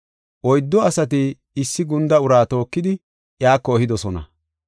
Oyddu asati issi gunda uraa tookidi iyako ehidosona.